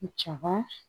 Jaba